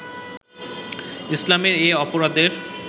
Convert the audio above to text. ইসলামে এ অপরাধের